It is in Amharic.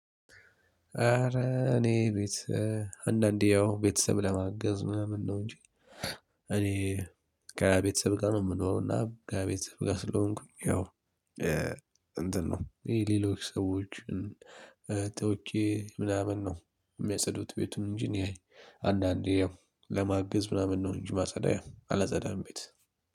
አረ እኔ ቤት አንዳንዴ ያው ቤተሰብ ለማገዝ ምናምን ነው እንጂ እኔ ከቤተሰብ ጋር ነው የምኖረው። እና ከቤተሰብ ጋር ስለሆንኩኝ ያው እንትን ነው ይሄ ሌሎች ሰዎችን ጠርቼ ምናምን ነው የሚያጸዱት ቤቱን እንጂ እኔ አይ አንዳንዴ ያው ለማገዝ ምናምን ነው እንጂ ማጸዳ አላጸዳም። ቤት